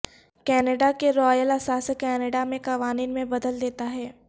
Canada کے royal اثاثے Canada میں قوانین میں بدل دیتا ہے